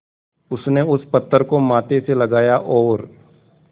उसने उस पत्थर को माथे से लगाया और